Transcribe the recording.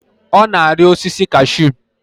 Ọ na-arị osisi cashu